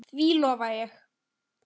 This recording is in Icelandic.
Því lofa ég þér